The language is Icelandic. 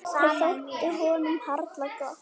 Það þótti honum harla gott.